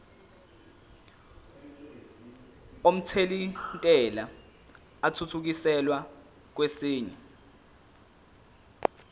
omthelintela athuthukiselwa kwesinye